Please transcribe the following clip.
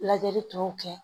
Lajɛli tɔw kɛ